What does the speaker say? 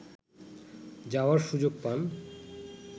যাওয়ার সুযোগ পান